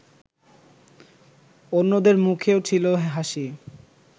অন্যদের মুখেও ছিল হাসি